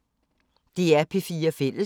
DR P4 Fælles